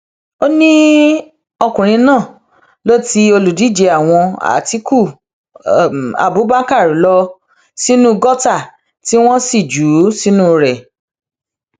ó ní ọkùnrin náà ló ti olùdíje àwọn àtikukú abubakar lọ sínú gọtà tí wọn sì jù ú sínú rẹ